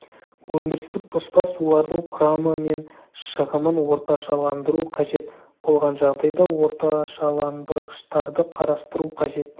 өндірістік тоспа сулардың құрамы мен шығымын орташаландыру қажет болған жағдайда орташаландырғыштарды қарастыру қажет